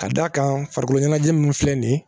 Ka d'a kan farikolo ɲɛnajɛ min filɛ nin ye